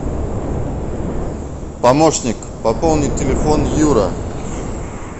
помощник пополнить телефон юра